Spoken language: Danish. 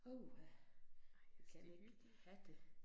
Uha jeg kan ikke have det